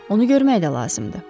Onu görmək də lazımdır.